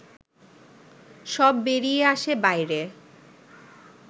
সব বেরিয়ে আসে বাইরে